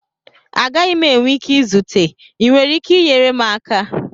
Agaghị m enwe ike izute, ị nwere ike inyere m aka?